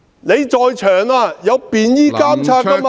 現場有便衣監察......